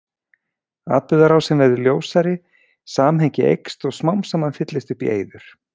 Atburðarásin verður ljósari, samhengi eykst og smám saman fyllist upp í eyður.